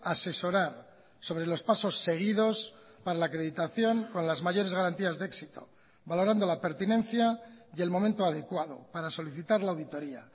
asesorar sobre los pasos seguidos para la acreditación con las mayores garantías de éxito valorando la pertinencia y el momento adecuado para solicitar la auditoria